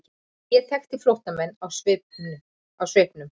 Ég þekki flóttamenn á svipnum.